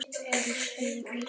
Farið suður með sjó.